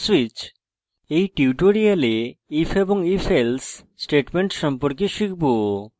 switch in tutorial if এবং ifelse statements সম্পর্কে শিখব